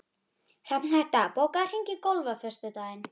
Sigvalda, spilaðu lagið „Sódóma“.